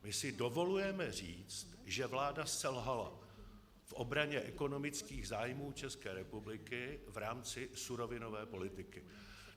My si dovolujeme říct, že vláda selhala v obraně ekonomických zájmů České republiky v rámci surovinové politiky.